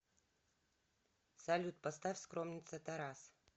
салют поставь скромница тарас